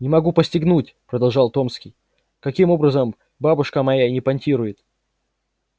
не могу постигнуть продолжал томский каким образом бабушка моя не понтирует